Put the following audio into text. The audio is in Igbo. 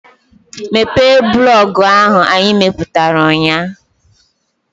Mepee blọọgụ ahụ anyị mepụtara ụnyaahụ!